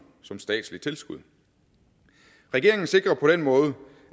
som statslige tilskud regeringen sikrer på den måde